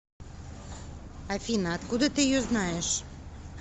афина откуда ты ее знаешь